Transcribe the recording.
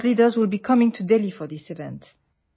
World leaders would be coming to Delhi for this event